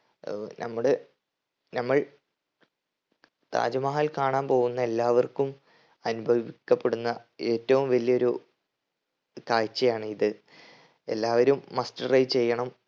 ഏർ നമ്മടെ നമ്മൾ താജ് മഹൽ കാണാൻ പോകുന്ന എല്ലാവർക്കും അനുഭവിക്കപ്പെടുന്ന ഏറ്റവും വലിയൊരു കാഴ്ചയാണ് ഇത്. എല്ലാവരും must try ചെയ്യണം.